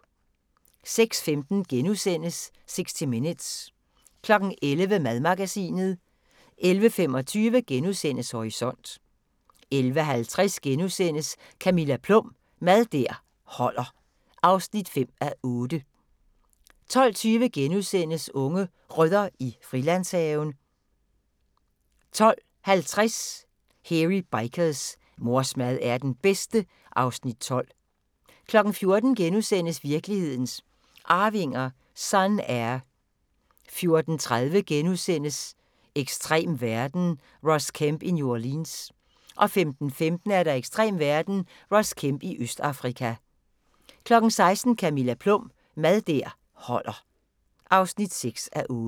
06:15: 60 Minutes * 11:00: Madmagasinet 11:25: Horisont * 11:50: Camilla Plum – Mad der holder (5:8)* 12:20: Unge Rødder i Frilandshaven * 12:50: Hairy Bikers: Mors mad er den bedste (Afs. 12) 14:00: Virkelighedens Arvinger: Sun-Air (Afs. 6)* 14:30: Ekstrem verden – Ross Kemp i New Orleans * 15:15: Ekstrem verden – Ross Kemp i Østafrika 16:00: Camilla Plum – Mad der holder (6:8)